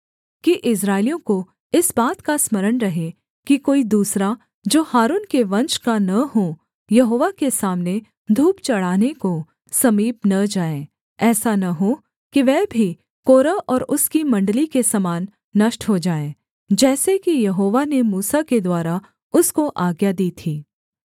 कि इस्राएलियों को इस बात का स्मरण रहे कि कोई दूसरा जो हारून के वंश का न हो यहोवा के सामने धूप चढ़ाने को समीप न जाए ऐसा न हो कि वह भी कोरह और उसकी मण्डली के समान नष्ट हो जाए जैसे कि यहोवा ने मूसा के द्वारा उसको आज्ञा दी थी